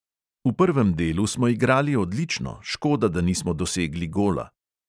V prvem delu smo igrali odlično, škoda, da nismo dosegli gola.